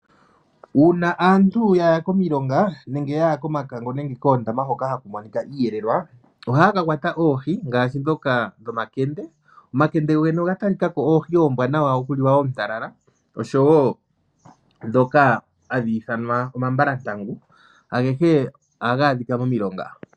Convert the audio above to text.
Uuna aantu ya ya komilonga nenge ya ya komakango, nenge koondama hoka haku monikwa iiyelelwa. Ohaya ka kwata oohi ngaashi dhoka dhomakende. Omakende go gene oga talika ko oohi oombwanawa okutala, oshowo dhoka hadhi ithanwa omambalantangu. Agehe ohaga adhikwa momilonga.